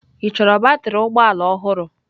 Ị chọrọ batrị ụgbọ ala ọhụrụ?